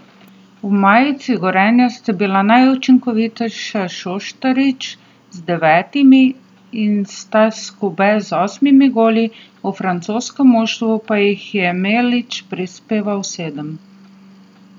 V majici Gorenja sta bila najučinkovitejša Šoštarič z devetimi in Staš Skube z osmimi goli, v francoskem moštvu pa jih je Melić prispeval sedem.